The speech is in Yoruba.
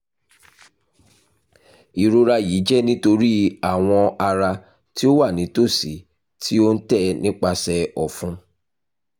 irora yii jẹ nitori awọn ara ti o wa nitosi ti o n tẹ nipasẹ ọfun